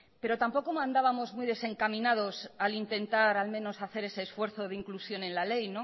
pero tampoco andamos muy desencaminados al intentar al menos hacer ese esfuerzo de inclusión en la ley